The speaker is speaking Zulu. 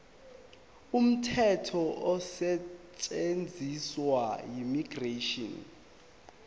umthetho osetshenziswayo immigration